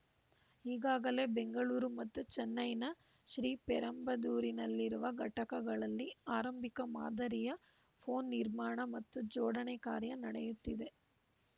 ಈಗಾಗಲೇ ಬೆಂಗಳೂರು ಮತ್ತು ಚೆನ್ನೈನ ಶ್ರೀಪೆರಂಬದೂರಿನಲ್ಲಿರುವ ಘಟಕಗಳಲ್ಲಿ ಆರಂಭಿಕ ಮಾದರಿಯ ಫೋನ್‌ ನಿರ್ಮಾಣ ಮತ್ತು ಜೋಡಣೆ ಕಾರ್ಯ ನಡೆಯುತ್ತಿದೆ